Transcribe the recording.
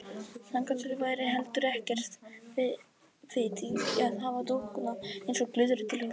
Þangað til væri heldur ekkert vit í að hafa dúkkuna eins og glyðru til fara.